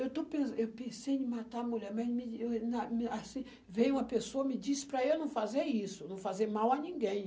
Eu estou pen eu pensei em matar a mulher, mas me na na assim, veio uma pessoa e me disse para eu não fazer isso, não fazer mal a ninguém.